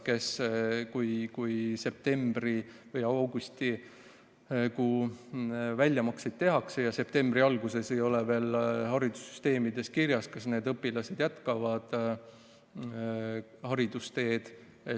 Kui septembri alguses septembri või augusti väljamakseid tehakse, siis ei ole veel haridussüsteemis kirjas, kas need õpilased jätkavad haridusteed.